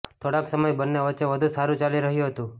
થોડાક સમય બન્ને વચ્ચે બધું સારૂ ચાલી રહ્યુ હતું